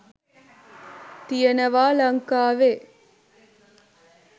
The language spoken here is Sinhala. තියෙනවා ලංකාවේ.